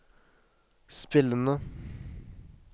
spillende